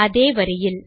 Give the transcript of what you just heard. அதே வரியில்